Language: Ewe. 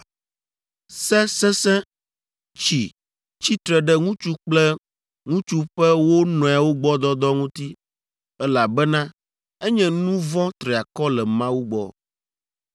“ ‘Se sesẽ tsi tsitre ɖe ŋutsu kple ŋutsu ƒe wo nɔewo gbɔ dɔdɔ ŋuti, elabena enye nu vɔ̃ triakɔ le Mawu gbɔ.